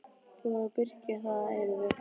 Búið að byrgja það að eilífu.